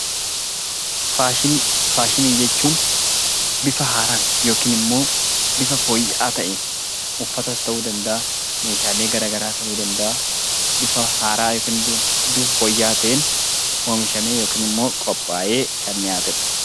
Faashinii Faashinii jechuun bifa haaraan yookiin immoo bifa fooyya'aa ta'een, uffatas ta'uu danda'a, meshaalee gara garaas ta'uu danda'aa, bifa haaraa yookiin bifa fooyya'aa ta'een, oomishamee yookiin immoo qophaa'ee kan dhiyaate dha.